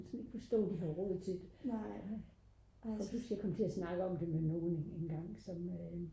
jeg kan simpelthen ikke forstå at de har råd til det jeg kan huske jeg kom til at snakke om det med nogen engang som